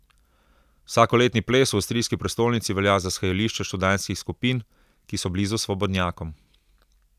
Vsakoletni ples v avstrijski prestolnici velja za shajališče študentskih skupin, ki so blizu svobodnjakom.